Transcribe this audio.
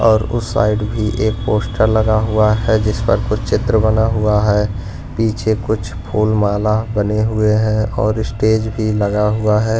और उस साइड भी एक पोस्टर लगा हुआ है जिस पर कुछ चित्र बना हुआ है पीछे कुछ फूल माला बने हुए हैं और स्टेज भी लगा हुआ है।